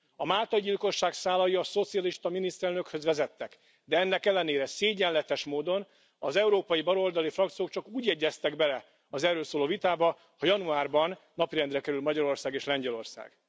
A máltai gyilkosság szálai a szocialista miniszterelnökhöz vezettek, de ennek ellenére szégyenletes módon az európai baloldali frakciók csak úgy egyeztek bele az erről szóló vitába, ha januárban napirendre kerül Magyarország és Lengyelország.